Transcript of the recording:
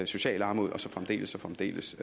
social armod og fremdeles og fremdeles